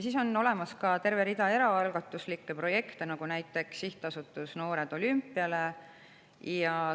On olemas ka terve rida eraalgatuslikke projekte, näiteks sihtasutus Noored Olümpiale.